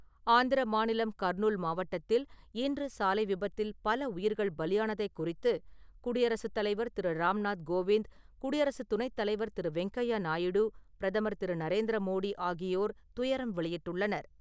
ஆந்திர மாநிலம் கர்னூல் மாவட்டத்தில் இன்று, சாலை விபத்தில் பல உயிர்கள் பலியானதை குறித்து, குடியரசுத் தலைவர் திரு. ராம்நாத் கோவிந்த், குடியரசு துணை தலைவர் திரு. வெங்கய்யா நாயுடு, பிரதமர் திரு. நரேந்திர மோடி ஆகியோர் துயரம் வெளியிட்டுள்ளனர்.